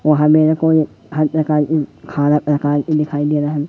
वहां मेरे को एक हर प्रकार की अठारह प्रकार की दिखाई दे रहा है।